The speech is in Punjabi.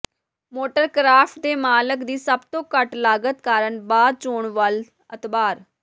ਮੋਟਰ ਕਰਾਫਟ ਦੇ ਮਾਲਕ ਦੀ ਸਭ ਦੇ ਘੱਟ ਲਾਗਤ ਕਾਰਨ ਬਾਅਦ ਚੋਣ ਵੱਲ ਅਤਬਾਰ